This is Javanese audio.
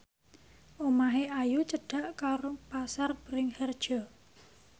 omahe Ayu cedhak karo Pasar Bringharjo